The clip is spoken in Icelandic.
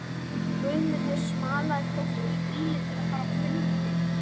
Guðmundur smalaði fólki í bílinn til að fara á fundinn.